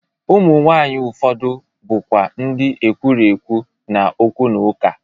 Ụmụ nwaanyị ụfọdụ bụkwa ndị ekwurekwu na okwu na ụka.